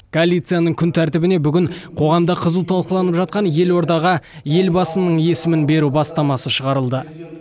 коалицияның күн тәртібіне бүгін қоғамда қызу талқыланып жатқан елордаға елбасының есімін беру бастамасы шығарылды